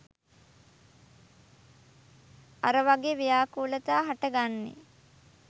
අර වගෙ ව්‍යාකූලතා හට ගන්නෙ